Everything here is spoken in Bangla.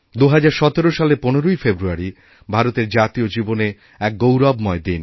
২০১৭ সালের ১৫ই ফেব্রুয়ারিভারতের জাতীয় জীবনে এক গৌরবময় দিন